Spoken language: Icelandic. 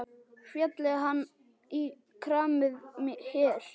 Félli hann í kramið hér?